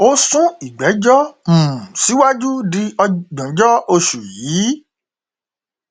ó sún ìgbẹjọ um síwájú di ògbóǹjọ oṣù yìí